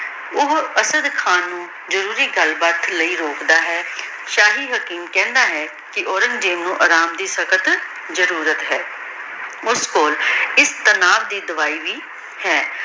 ਓਹੋ ਅਸਾਡ ਖਾਨ ਨੂ ਜ਼ਰੂਰੀ ਗਲ ਬਾਤ ਲੈ ਰੋਕਦਾ ਹੈ ਸ਼ਾਹੀ ਹਕੀਮ ਕਹੰਦਾ ਹੈ ਕੇ ਔਰੇਨ੍ਗ੍ਜ਼ੇਬ ਨੂ ਸਖਤ ਆਰਾਮ ਦੀ ਜ਼ਰੁਰਤ ਹੈ ਓਸ ਕੋਲ ਏਸ ਪਨਾਹ ਦੀ ਦਵਾਈ ਵੀ ਹੈ